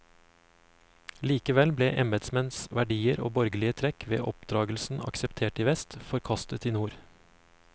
Likevel ble embetsmenns verdier og borgerlige trekk ved oppdragelsen akseptert i vest, forkastet i nord.